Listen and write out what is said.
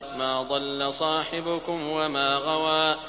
مَا ضَلَّ صَاحِبُكُمْ وَمَا غَوَىٰ